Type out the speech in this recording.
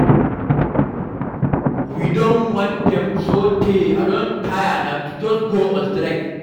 We don warn dem sotay I don tire, na to just go on strike.